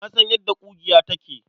Na san yadda ƙugiya take.